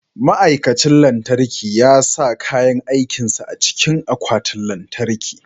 Ma'aikacin lantarki ya sa kayan aikin sa a cikin akwatin lantarki.